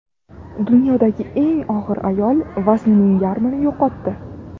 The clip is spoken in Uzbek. Dunyodagi eng og‘ir ayol vaznining yarmini yo‘qotdi .